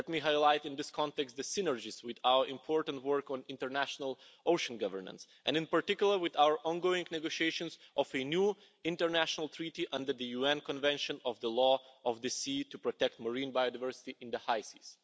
Let me highlight, in this context, the synergies with our important work on international ocean governance, and in particular with our ongoing negotiations on a new international treaty under the UN Convention of the Law of the Sea to protect marine biodiversity in the high seas.